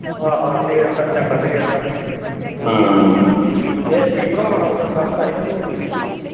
ਆਹੋ ਆਹੋ ਤੇਲ ਖਰਚਾ ਕੱਢ ਕੇ ਕਹਿੰਦਾ ਇਹ ਸਟੇਫਨ ਹੋਰਆਂ ਨਾਲ ਵਜਾਉਂਦਾ ਹੁੰਦਾ ਸੀ ਕੇ ਢੋਲਕੀ।